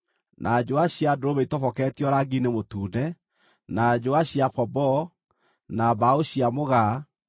na njũa cia ndũrũme itoboketio rangi-inĩ mũtune, na njũa cia pomboo, na mbaũ cia mũgaa;